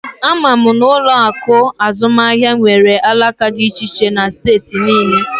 Ama m na ụlọ akụ azụmaahịa nwere alaka dị iche iche na steeti niile